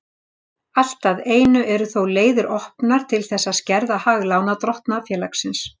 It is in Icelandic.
Allt að einu eru þó leiðir opnar til þess að skerða hag lánardrottna félagsins.